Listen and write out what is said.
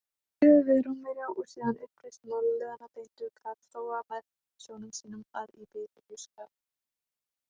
Eftir stríðið við Rómverja og síðan uppreisn málaliðanna beindu Karþagómenn sjónum sínum að Íberíuskaganum.